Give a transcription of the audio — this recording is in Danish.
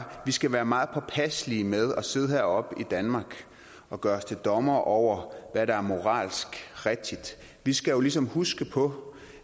vi skal være meget påpasselige med at sidde heroppe i danmark og gøre os til dommere over hvad der er moralsk rigtigt vi skal jo ligesom huske på